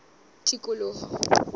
tikoloho